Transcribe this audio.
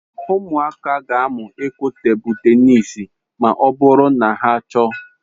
Ụmụaka ga-amụ ịkụ tebụl tenis ma ọ bụrụ na ha chọọ.